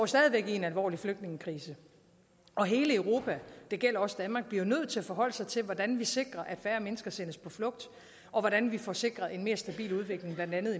stadig væk i en alvorlig flygtningekrise og hele europa det gælder også danmark bliver nødt til at forholde sig til hvordan vi sikrer at færre mennesker sendes på flugt og hvordan vi får sikret en mere stabil udvikling blandt andet